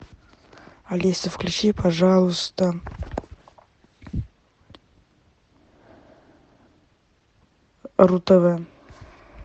алиса включи пожалуйста ру тв